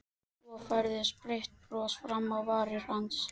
Svo færðist breitt bros fram á varir hans.